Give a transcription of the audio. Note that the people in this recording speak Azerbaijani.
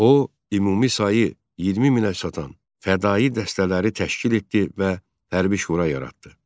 O, ümumi sayı 20 minə çatan fədaii dəstələri təşkil etdi və hərbi şura yaratdı.